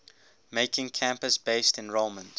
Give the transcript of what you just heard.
making campus based enrollment